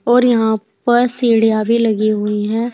और यहां पर सीढ़ियां भी लगी हुई है।